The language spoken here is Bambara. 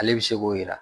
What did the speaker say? Ale bɛ se k'o yira